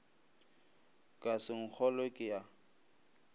ka se nkgolwe ke a